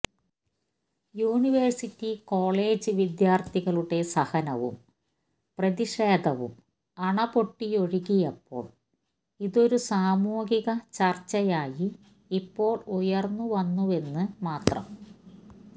university college വിദ്യാർത്ഥികളുടെ സഹനവും പ്രതിഷേധവും അണ പൊട്ടിയൊഴുകിയപ്പോൾ ഇതൊരു സാമൂഹിക ചർച്ചയായി ഇപ്പോൾ ഉയർന്നു വന്നുവെന്ന് മാത്രം